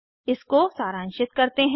इसको सारांशित करते हैं